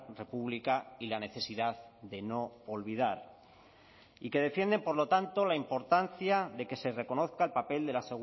república y la necesidad de no olvidar y que defienden por lo tanto la importancia de que se reconozca el papel de la